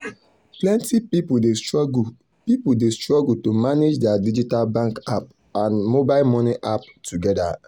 plenty people dey struggle people dey struggle to manage their digital bank app and mobile money app together.